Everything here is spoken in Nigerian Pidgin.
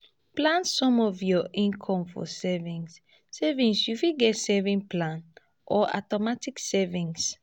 plan some of your income for savings savings you fit get savings plan or automatic savings